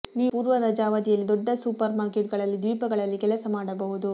ನೀವು ಪೂರ್ವ ರಜಾ ಅವಧಿಯಲ್ಲಿ ದೊಡ್ಡ ಸೂಪರ್ಮಾರ್ಕೆಟ್ಗಳಲ್ಲಿ ದ್ವೀಪಗಳಲ್ಲಿ ಕೆಲಸ ಮಾಡಬಹುದು